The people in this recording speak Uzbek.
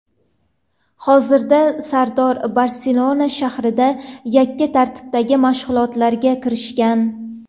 Hozir Sardor Barselona shahrida yakka tartibdagi mashg‘ulotlarga kirishgan.